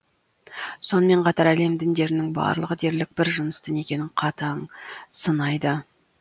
сонымен қатар әлем діндерінің барлығы дерлік бір жынысты некені қатаң сынайды